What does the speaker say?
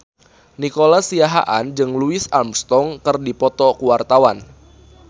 Nico Siahaan jeung Louis Armstrong keur dipoto ku wartawan